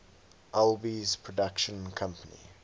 alby's production company